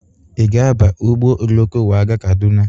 Ị ga-aba ụgbọ oloko wee gaa Kaduna?